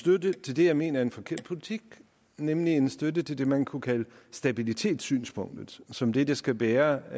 støtte til det jeg mener er en forkert politik nemlig en støtte til det man kunne kalde stabilitetssynspunktet som det der skal bære